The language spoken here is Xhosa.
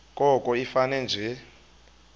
koko ifane nje